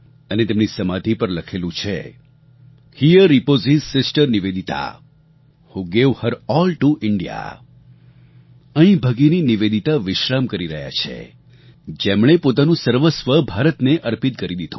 અને તેમની સમાધિ પર લખેલું છે here repose sister Nivedita who gave her A L L T O India અહીં ભગિની નિવેદિતા વિશ્રામ કરી રહ્યાં છે જેમણે પોતાનું સર્વસ્વ ભારતને અર્પિત કરી દીધું